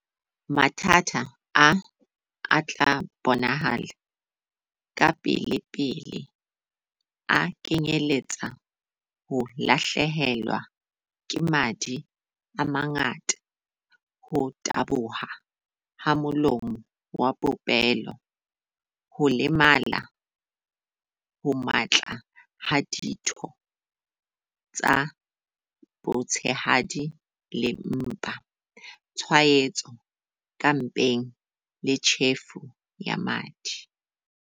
"Mathata a a tla bonahala kapelepele a kenyeletsa ho lahlehelwa ke madi a mangata ho taboha ha molomo wa popelo, ho lemala ho matla ha ditho tsa botshehadi le mpa, tshwaetso ka mpeng le tjhefo ya madi."